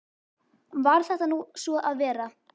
Varð þetta nú svo að vera.